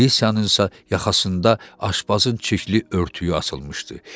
Alisanınsa yaxasında aşbazın çirkli örtüyü asılmışdı.